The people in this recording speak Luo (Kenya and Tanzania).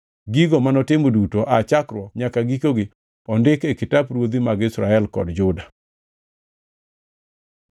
gigo manotimo duto aa chakruokgi nyaka gikogi ondik e kitap ruodhi mag Israel kod Juda.